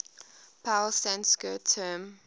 pali sanskrit term